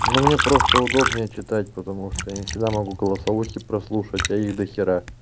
но мне просто удобнее читать потому что я не всегда могу голосовухи прослушать а их до хера